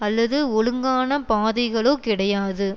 அல்லது ஒழுங்கான பாதைகளோ கிடையாது